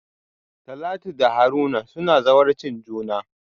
Talatu da Haruna suna zawarcin juna.